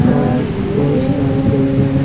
और वो बहुत सारे जंगल है।